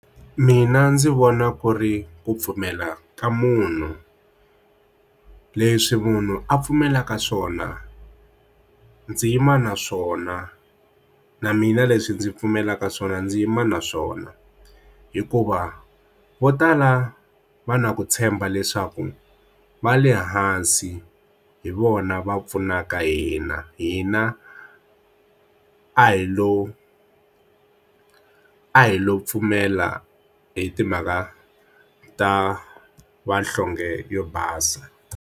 Mina ndzi vona ku ri ku pfumela ka munhu leswi munhu a pfumelaka swona ndzi yima na swona na mina leswi ndzi pfumelaka swona ndzi yima na swona hikuva vo tala va na ku tshemba leswaku va le hansi hi vona va pfunaka hina hina a hi lo a hi lo pfumela hi timhaka ta vanhlonge yo basa.